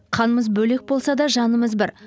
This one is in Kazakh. қанымыз бөлек болса да жанымыз бір